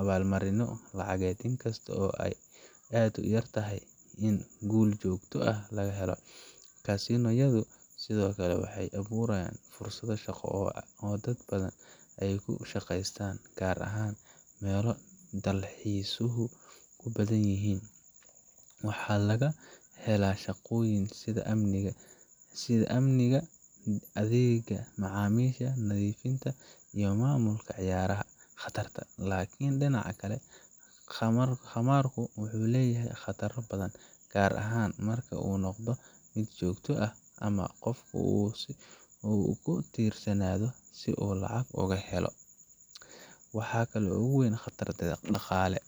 abaalmarino lacageed, inkasta oo ay aad u yar tahay in guul joogto ah laga helo. casino yadu sidoo kale waxay abuuraan fursado shaqo oo dad badan ay ku shaqaystaan, gaar ahaan meelo dalxiisku ku badan yahay. Waxaa laga helaa shaqooyin sida amniga, adeegga macaamiisha, nadiifinta, iyo maamulidda ciyaaraha. Khataraha: Laakiin dhinaca kale, khamaarku wuxuu leeyahay khataro badan, gaar ahaan marka uu noqdo mid joogto ah ama qofku uu ku tiirsanaado si uu lacag u helo. Waxa ugu weyn waa qatar dhaqaale